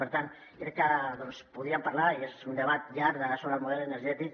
per tant crec que doncs podríem parlar i és un debat llarg sobre el model energètic